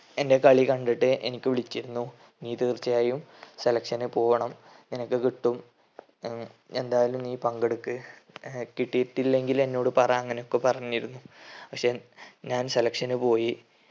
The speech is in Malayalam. എൻ്റെ കളി കണ്ടിട്ട് എനിക്ക് വിളിച്ചിരുന്നു. നീ തീർച്ചയായും selection പോകണം നിനക്ക് കിട്ടും ഏർ എന്തായാലും നീ പങ്കെടുക്ക് ഏർ കിട്ടിയിട്ടില്ലെങ്കിൽ എന്നോട് പറ അങ്ങനൊക്കെ പറഞ്ഞിരുന്നു. പക്ഷെ ഞാൻ selection പോയി